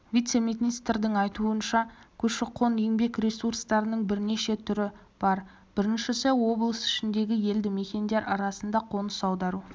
вице-министрдің айтуынша көші-қон еңбек ресурстарының бірнеше түрі бар біріншісі облыс ішіндегі елді мекендер арасында қоныс аудару